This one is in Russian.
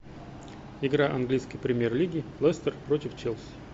игра английской премьер лиги лестер против челси